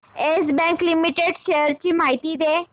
yes Bank Limited shares ची माहिती दे